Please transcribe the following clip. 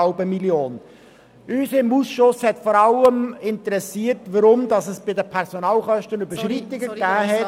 Unseren Ausschuss hat vor allem interessiert, weshalb es bei den Personalkosten Überschreitungen gegeben hat.